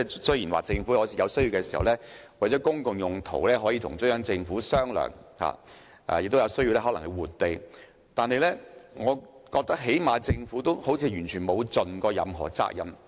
雖然政府有需要的時候可以與中央政府商量，亦有可能需要換地，但我覺得政府好像完全未盡責任。